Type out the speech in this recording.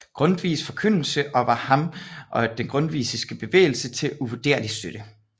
Grundtvigs forkyndelse og var ham og den grundtvigske bevægelse til uvurderlig støtte